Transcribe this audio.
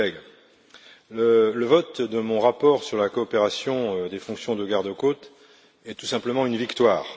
Mes chers collègues, le vote de mon rapport sur la coopération des fonctions de garde côtes est tout simplement une victoire.